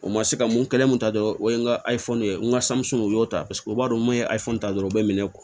O ma se ka mun kɛlen mun ta dɔrɔn o ye n ka ye n ka u y'o ta paseke u b'a dɔn n'a ye ta dɔrɔn u be minɛ